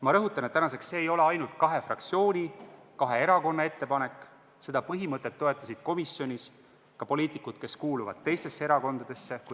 Ma rõhutan, et tänaseks see ei ole ainult kahe fraktsiooni, kahe erakonna ettepanek, seda põhimõtet toetasid komisjonis ka poliitikud, kes kuuluvad teistesse erakondadesse.